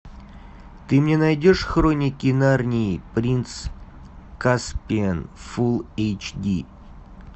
ты мне найдешь хроники нарнии принц каспиан фулл эйч ди